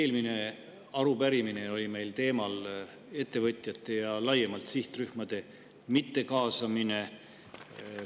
Eelmine arupärimine oli meil ettevõtjate ja laiemalt sihtrühmade mittekaasamise teemal.